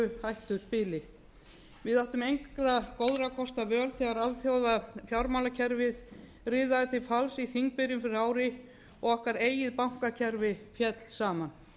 hættuspili við áttum engra góða kosta völ þegar alþjóðafjármálakerfið riðaði til falls í þingbyrjun fyrir ári og okkar eigið bankakerfi féll saman